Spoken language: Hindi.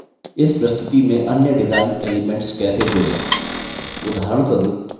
add सीखते हैं कि इस प्रस्तुति में अन्य डिजाइन एलिमेन्ट्स कैसे जोड़ें